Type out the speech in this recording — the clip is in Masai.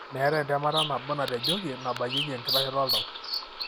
meetae entemata nabo natejoki nabakieki enkitashoto oltau.